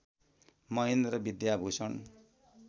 Mahendra Vidyabhushan